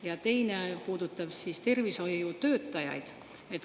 Ja teine puudutab tervishoiutöötajaid.